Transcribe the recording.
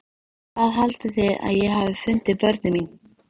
Hvað haldið þið að ég hafi fundið börnin mín?